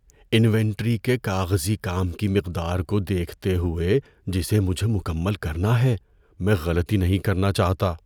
Inventory کے کاغذی کام کی مقدار کو دیکھتے ہوئے جسے مجھے مکمل کرنا ہے، میں غلطی نہیں کرنا چاہتا۔